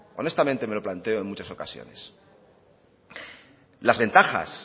honestamente me lo planteo en muchas ocasiones las ventajas